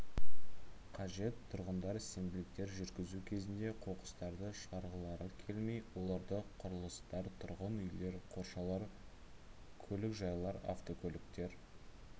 қажет тұрғындар сенбіліктер жүргізу кезінде қоқыстарды шығарғылары келмей оларды құрылыстар тұрғын үйлер қоршаулар көлікжайлар автокөліктер